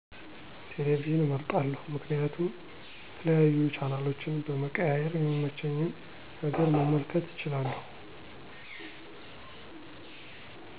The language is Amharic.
ቴለቪዥን እመርጣለሁ ምክንያቱም የተለያዩ ቻናሎችን በመቀያየር የሚመቸኝን ነገር መመልከት እችላለሁ።